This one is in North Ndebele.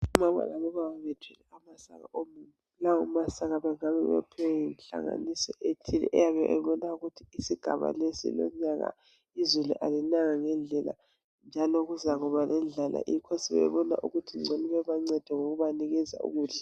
Omama labobaba bethwele amasaka omumbu. Abayabe bewaphiwa yinhlanganiso ethile eyabe ebona ukuthi isigaba lesi lonyaka izulu alinanga ngendlela njalo kuzabalendlala besebebona ukuthi ngcono bebaphe ukudla.